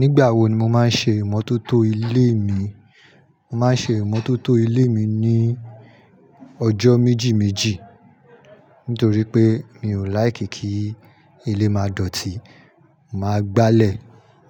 Nígbà wo ni mo máa ń ṣe ìmọ́tótó ilé mi? Mo máa ń ṣe ìmọ́tótó ilé mi ní ọjọ́ méjì méjì. Nítorí pé mi ò láìkí kí ilé má dọ̀tí. Màá gbálẹ̀,